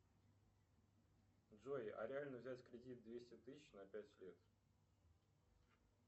джой а реально взять кредит двести тысяч на пять лет